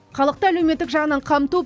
халықты әлеуметтік жағынан қамту